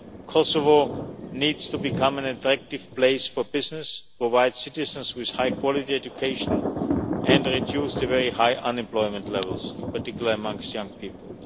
Kosovo needs to become an attractive place for business, provide citizens with high quality education and reduce the very high unemployment levels, in particular amongst young people.